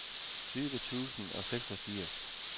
tyve tusind og seksogfirs